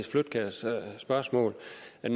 vil